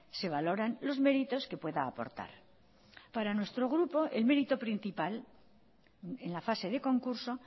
se valoran los méritos que pueda aportar para nuestro grupo el mérito principal en la fase de concurso